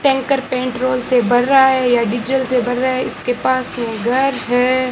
Tanker petrol से भर रहा है या डीजल से भर रहा है इसके पास में घर है।